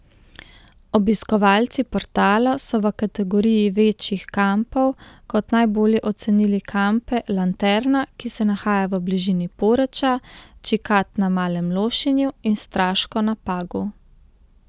Obiskovalci portala so v kategoriji večjih kampov kot najbolje ocenili kampe Lanterna, ki se nahaja v bližini Poreča, Čikat na Malem Lošinju in Straško na Pagu.